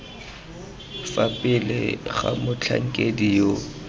fa pele ga motlhankedi yo